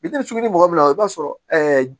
Bitɔn sugu ni mɔgɔ min na i b'a sɔrɔ